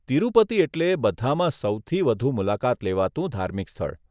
તિરુપતિ એટલે બધામાં સૌથી વધુ મુલાકાત લેવાતું ધાર્મિક સ્થળ.